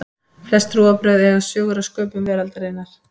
Flest trúarbrögð eiga sögur af sköpun veraldarinnar.